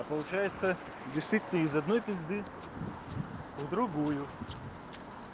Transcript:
получается действительно из одной пизды в другую